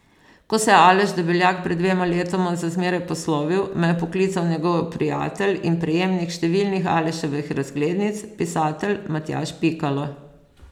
Ko se je Aleš Debeljak pred dvema letoma za zmeraj poslovil, me je poklical njegov prijatelj in prejemnik številnih Aleševih razglednic, pisatelj Matjaž Pikalo.